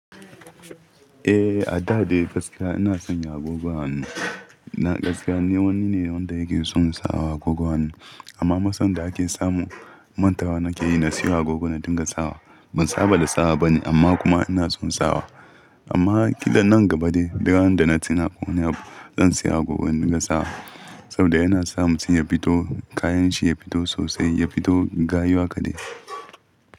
Eh, a da dai gaskiya ina sanya agogon hannu. Na gaskiya ni wani ne wanda yake son sawa agogon hannu amma matsalar da ake samu mantawa nake yi na siyo agogon na dinga sawa. Ban saba da sawa ba ne amma kuma ina son sawa. Amma kiɗan nan gaba dai biyan da na tuna ƙo wani abu zan siya gogon dinga sawa saboda yana samun shi ya fito kayan shi ya fito sosai, ya fito gayu haka dai.